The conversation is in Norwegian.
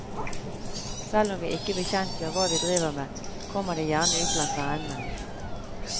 Selv om vi ikke bekjentgjør hva vi driver med, kommer det gjerne ut blant vennene.